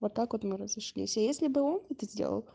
вот так вот мы разошлись а если бы он это сделал